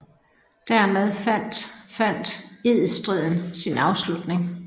Dermed fandt fandt edstriden sin afslutning